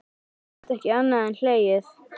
Ég gat ekki annað en hlegið.